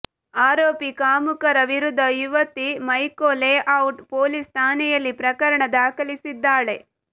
ಆರೋಪಿ ಕಾಮುಕರ ವಿರುದ್ಧ ಯುವತಿ ಮೈಕೋ ಲೇಔಟ್ ಪೊಲೀಸ್ ಠಾಣೆಯಲ್ಲಿ ಪ್ರಕರಣ ದಾಖಲಿಸಿದ್ದಾಳೆ